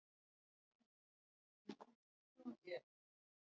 Hann beygði sig yfir hana og lyfti henni upp eins og hún væri fis.